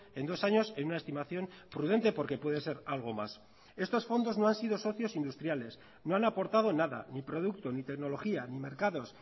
en dos años en una estimación prudente porque puede ser algo más estos fondos no han sido socios industriales no han aportado nada ni producto ni tecnología ni mercados